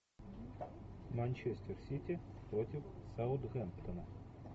манчестер сити против саутгемптона